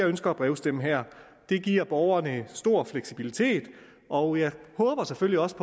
ønsker at brevstemme der det giver borgerne en stor fleksibilitet og jeg håber selvfølgelig også